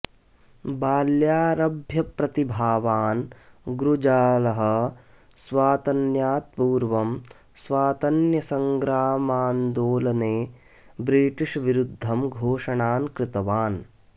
बाल्यारभ्य प्रतिभावान् गुज्रालः स्वातन्यात् पूर्वं स्वातन्यसङ्ग्रामान्दोलने ब्रिटीष् विरुद्धं घोषणान् कृतवान्